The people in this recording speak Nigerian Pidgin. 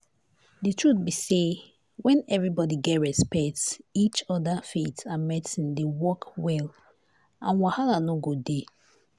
the truth be say when everybody get respect each other faith and medicine dey work well and wahala no go dey.